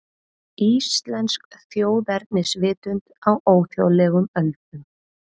Íslensk þjóðernisvitund á óþjóðlegum öldum